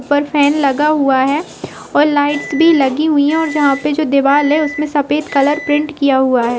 ऊपर फैन लगा हुआ है और लाइट भी लगी हुई है और यहाँ पे जो दीवाल है उसमे सफ़ेद कलर पेंट किया हुआ है।